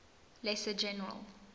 lesser general